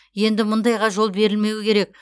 енді мұндайға жол берілмеуі керек